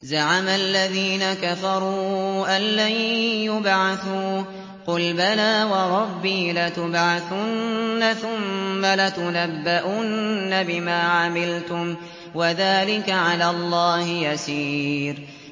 زَعَمَ الَّذِينَ كَفَرُوا أَن لَّن يُبْعَثُوا ۚ قُلْ بَلَىٰ وَرَبِّي لَتُبْعَثُنَّ ثُمَّ لَتُنَبَّؤُنَّ بِمَا عَمِلْتُمْ ۚ وَذَٰلِكَ عَلَى اللَّهِ يَسِيرٌ